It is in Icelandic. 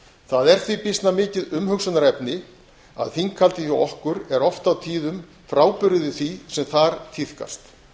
það er því mikið umhugsunarefni að þinghaldið hjá okkur er oft og tíðum býsna frábrugðið því sem þar tíðkast